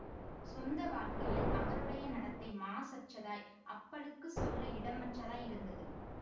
சொந்த வாழ்க்கையில் அவருடைய நடத்தை மாசற்றதாய் அப்பழுக்கு சொல்ல இடமற்றதாய் இருந்தது